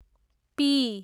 P